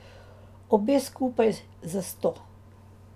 Obe skupaj za sto.